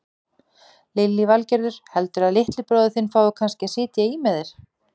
Lillý Valgerður: Heldurðu að litli bróðir þinn fái kannski að sitja í með þér?